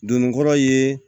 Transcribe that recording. Donnikɔrɔ ye